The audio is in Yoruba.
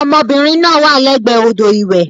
Ọmọbìnrin náà wà lẹ́gbẹ̀ẹ́ odò ìwẹ̀.